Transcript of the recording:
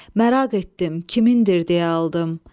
Meraq etdim, kimindir deyə aldım.